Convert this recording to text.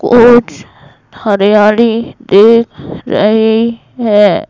कुछ हरियाली दिख रही है।